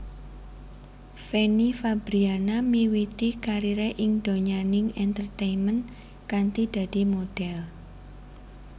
Fanny Fabriana miwiti karire ing donyaning entertainment kanthi dadi modhél